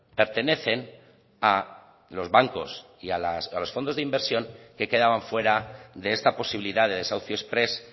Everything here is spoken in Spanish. pertenecen a los bancos y a los fondos de inversión que quedaban fuera de esta posibilidad de desahucio exprés